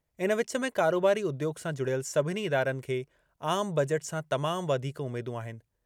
इन विच में कारोबारी उद्योॻु सां जुड़ियल सभिनी इदारनि खे आम बजट सां तमाम वधीक उमेदूं आहिनि।